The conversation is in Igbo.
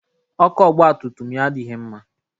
Ọkụ ọgba tum tum ya adịghị mma.